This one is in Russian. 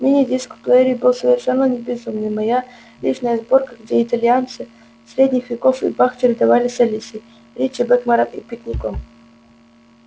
мини-диск в плеере был совершенно безумный моя личная сборка где итальянцы средних веков и бах чередовались с алисой ричи блэкмором и пикником